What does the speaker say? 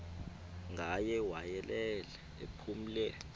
ngaye wayelele ephumle